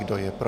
Kdo je pro?